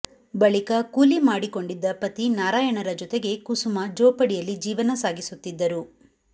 ಬಳಿಕ ಕೂಲಿ ಮಾಡಿಕೊಂಡಿದ್ದ ಪತಿ ನಾರಾಯಣರ ಜತೆಗೆ ಕುಸುಮಾ ಜೋಪಡಿಯಲ್ಲಿ ಜೀವನ ಸಾಗಿಸುತ್ತಿದ್ದರು